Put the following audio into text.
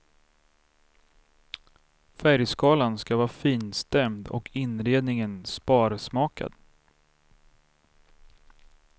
Färgskalan ska vara finstämd och inredningen sparsmakad.